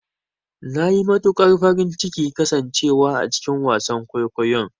Nayi matukar farin cikin kasan cewa a cikin wasan kwaikwayon.